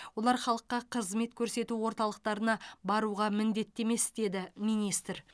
олар халыққа қызмет көрсету орталықтарына баруға міндетті емес деді министр